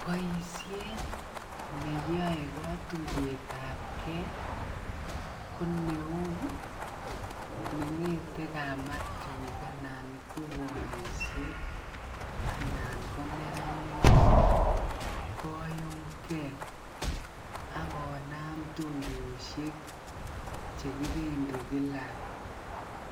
Boishet neyoe kotuyetabke koneuu nengete kamatik anan ko boishek anan ko neranik koyumke ak konam tuyoshek chekibendi kila